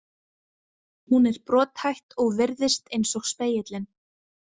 Hún er brothætt og virðist eins og spegillinn.